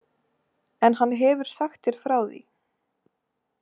En hann hefur sagt þér frá því?